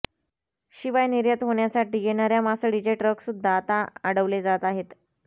शिवाय निर्यात होण्यासाठी येणार्या मासळीचे ट्रकसुद्धा आता अडवले जात आहेत